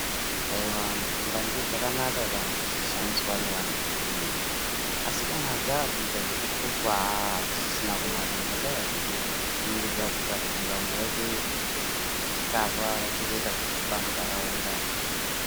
Aiwa mbanje dzakanaka kana dzichishandiswa nevantu vehurumende, asi kana dzakuita zvekuputwa haaa hachisina kunaka ngendava yekuti dzinenge dzakuita kuti vanhu vaite misikazwa vachizoita zvekuba muntaraunda.